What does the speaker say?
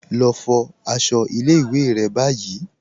Lọ fo àṣọ̀ ilẹ̀-ìwé̀ rẹ̀ ni báyì